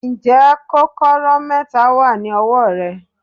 Ǹjẹ́ kọ́kọ́rọ́ kẹta wà ní ọwọ́ rẹ.